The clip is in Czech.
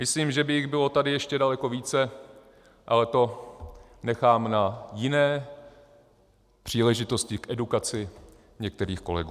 Myslím, že by jich bylo tady ještě daleko více, ale to nechám na jiné příležitosti k edukaci některých kolegů.